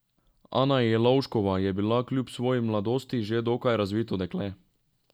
Ana Jelovškova je bila kljub svoji mladosti že dokaj razvito dekle.